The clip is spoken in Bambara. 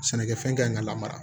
Sɛnɛkɛfɛn kanɲi ka lamara